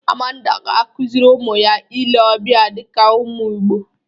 Amanda ga-akụzịrị ụmụ ya ile ọbịa dịka ụmụ Igbo.